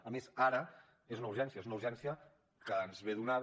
a més ara és una urgència és una urgència que ens ve donada